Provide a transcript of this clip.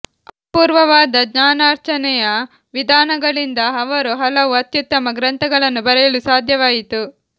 ಅಪೂರ್ವವಾದ ಜ್ಞಾನಾರ್ಜನೆಯ ವಿಧಾನಗಳಿಂದ ಅವರು ಹಲವು ಅತ್ಯುತ್ತಮ ಗ್ರಂಥಗಳನ್ನು ಬರೆಯಲು ಸಾಧ್ಯವಾಯಿತು